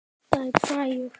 Vantaði græjur?